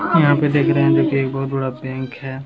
यहाँ पे देखने में देखिए एक बहुत बड़ा बैंक है।